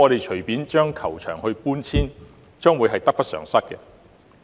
隨意搬遷球場，我相信將會得不償失。